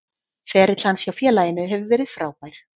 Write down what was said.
Ferill hans hjá félaginu hefur verið frábær.